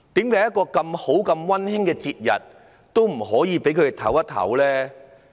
在如此溫馨的節日，為何不可以讓市民歇息一下呢？